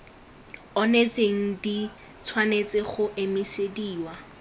onetseng di tshwanetse go emisediwa